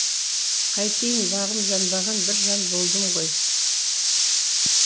қайтейін бағым жанбаған бір жан болдым ғой